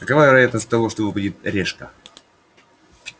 какова вероятность того что выпадет решка